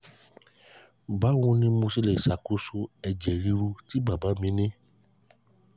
báwo ni mo ṣe lè ṣàkóso ṣe lè ṣàkóso ẹ̀jẹ̀ riru tí bàbá mi ní?